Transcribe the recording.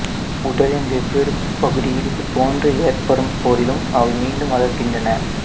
உடலின் வெவ்வேறு பகுதியில் இதுபோன்று ஏற்படும்போதிலும் அவை மீண்டும் வளருகின்றன